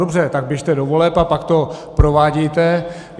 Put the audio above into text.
Dobře, tak běžte do voleb a pak to provádějte.